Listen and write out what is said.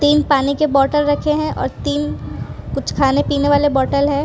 तीन पानी के बॉटल रखे हैं और तीन कुछ खाने पीने वाले बॉटल है।